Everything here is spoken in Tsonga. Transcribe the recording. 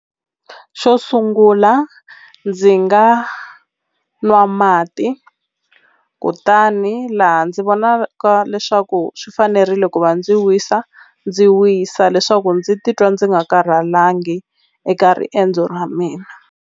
Xo sungula ndzi nga nwa mati kutani laha ndzi vonaka leswaku swi fanerile ku va ndzi wisa ndzi wisa leswaku ndzi titwa ndzi nga karhalangi eka riendzo ra mina.